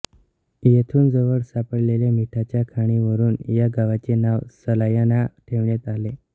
येथून जवळ सापडलेल्या मिठाच्या खाणींवरुन या गावाचे नाव सलायना ठेवण्यात आले